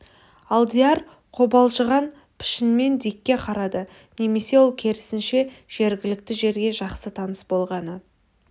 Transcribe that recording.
алдияр қобалжыған пішінмен дикке қарады немесе ол керісінше жергілікті жерге жақсы таныс болғаны